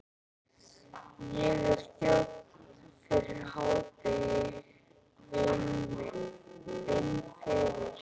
Ég er þjónn fyrir hádegi, vinn fyrir